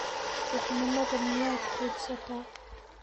Duqnimada miyaad quudhsataa?